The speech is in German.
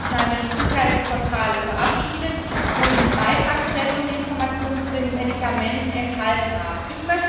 Wir haben dort Arzneimittelsicherheitsportale verabschiedet, wo die Beipackzettel und Informationen zu den Medikamenten enthalten sind.